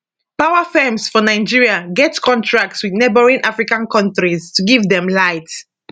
power firms for nigeria get contracts wit neighbouring african kontris to give dem light